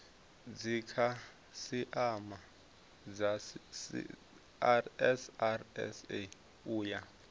dzikhasiama dza srsa u ya